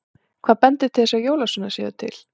Hvað bendir til þess að jólasveinar séu til?